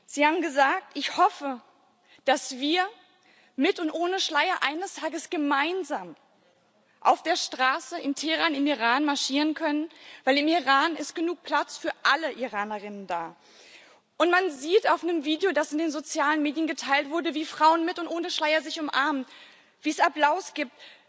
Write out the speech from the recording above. Sie haben gesagt Ich hoffe, dass wir mit und ohne Schleier eines Tages gemeinsam auf der Straße in Teheran im Iran marschieren können, denn im Iran ist genug Platz für alle IranerInnen da. Man sieht auf einem Video, das in den sozialen Medien geteilt wurde, wie Frauen mit und ohne Schleier sich umarmen, wie es Applaus gibt.